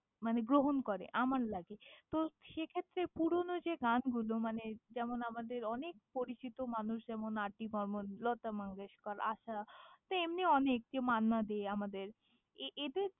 মানে গ্রহণ করে আমার লাগে, তো সেক্ষেত্রে পুরোনো যে গানগুলো মানে যেমন আমাদের অনেক পরিচিত মানুষ যেমন আর ডি বর্মন, লতা মঙ্গেশকার, আশা তেমনি অনেক মান্না দে আমাদের এ~ এদের।